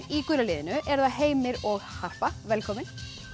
í gula liðinu eru það Heimir og Harpa velkomin